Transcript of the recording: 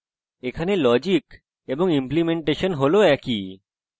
এখানে logic এবং implementation হল একই